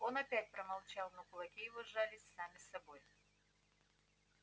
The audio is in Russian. он опять промолчал но кулаки его сжались сами собой